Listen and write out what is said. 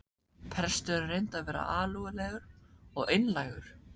Presturinn reyndi að vera alúðlegur og einlægur.